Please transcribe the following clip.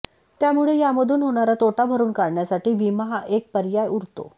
त्यामुळे यामधून होणारा तोटा भरुन काढण्यासाठी विमा हा एक पर्याय उरतो